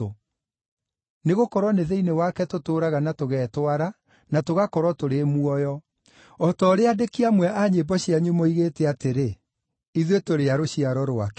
‘Nĩgũkorwo nĩ thĩinĩ wake tũtũũraga na tũgetwara, na tũgakorwo tũrĩ muoyo.’ O ta ũrĩa aandĩki amwe a nyĩmbo cianyu moigĩte atĩrĩ, ‘Ithuĩ tũrĩ a rũciaro rwake.’